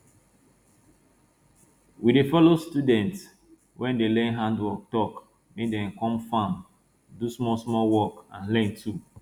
we dey follow students wey dey learn handwork talk make dem come farm do small small work and learn too